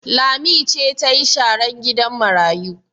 Lami ce ta yi sharan gidan marayu?